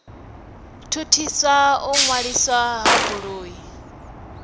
thuthisa u ṅwaliswa ha goloi